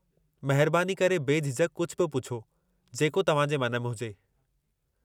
महिरबानी करे बेझिझक कुझु बि पुछो, जेको तव्हां जे मन में हुजे।